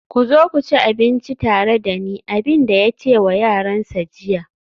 ku zo ku ci abinci tare da ni, abin da ya ce wa yaransa jiya